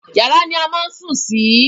Yàrá ni a máà sùn sí.